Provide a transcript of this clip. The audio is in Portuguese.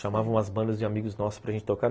Chamavam as bandas de amigos nossos para gente tocar.